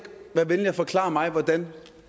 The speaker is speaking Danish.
være venlig at forklare mig hvordan